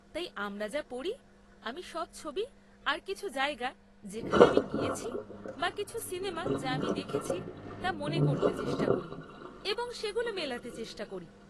তাই আমরা যা পড়ি, আমি সব ছবি আর কিছু জায়গা যেখানে আমি গিয়েছি বা কিছু সিনেমা যা আমি দেখেছি তা মনে করতে চেষ্টা করি এবং সেগুলো মেলাতে চেষ্টা করি।